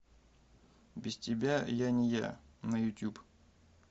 без тебя я не я на ютюб